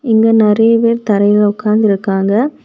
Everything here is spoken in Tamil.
இங்க நறைய பேர் தரையில உட்கார்ந்திருக்காங்க.